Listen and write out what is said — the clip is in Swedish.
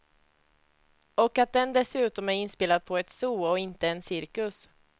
Och att den dessutom är inspelad på ett zoo och inte en cirkus.